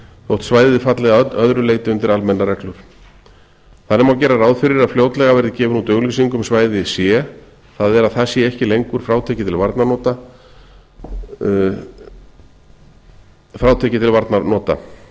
þótt svæðið falli að öðru leyti undir almennar reglur þannig má gera ráð fyrir að fljótlega muni vera gefin út auglýsing um svæði c það er að það sé ekki lengur frátekið til varnarnota víkjum þá